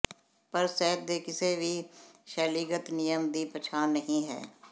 ਪਰ ਸਾਹਿਤ ਦੇ ਕਿਸੇ ਵੀ ਸ਼ੈਲੀਗਤ ਨਿਯਮ ਦੀ ਪਛਾਣ ਨਹੀ ਹੈ